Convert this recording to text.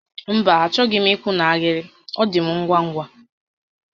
Mba, achọghị m ị́kwụ́ n'ahịrị, ọ dị m ngwa ngwa